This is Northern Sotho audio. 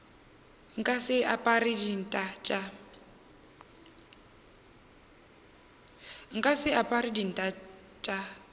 nka se apare dinta tša